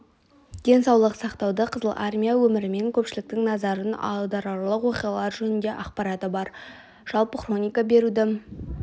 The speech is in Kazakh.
денсаулық сақтауды қызыл армия өмірінен көпшіліктің назарын аударарлық оқиғалар жөнінде ақпараты бар жалпы хроника беруді